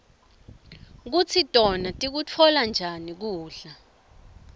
kutsi tona tikutfola njani kudla